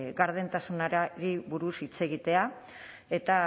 gardentasunari buruz hitz egitea eta